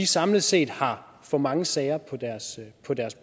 samlet set har for mange sager på deres